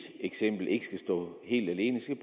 eksempel ikke skal stå helt alene skal